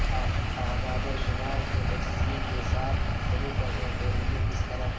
اعداد و شمار کے تجزیہ کے ساتھ شروع کرنے کے لئے کس طرح